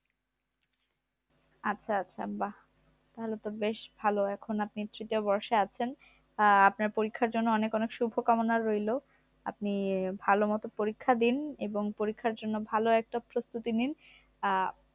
আচ্ছা আচ্ছা বা ভালো বেশ ভালো এখন আপনি তৃতীয় বর্ষে আছেন আপনার পরীক্ষার জন্য অনেক অনেক শুভকামনা আপনি ভালোমতো পরীক্ষা দিন এবং পরীক্ষার জন্য একটা প্রস্তুতি নিন